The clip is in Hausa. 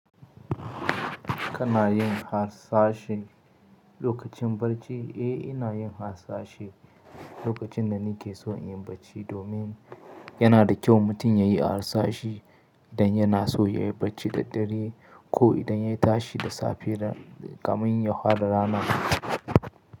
Kana yin hasashi lokacin barci? Eh, ina yin hasashi lokacin da nake so in yi barci domin yana da kyau mutum ya yi hasashi idan yana so ya yi barci da dare ko idan ya yi tashi da safe kamin hwara rana.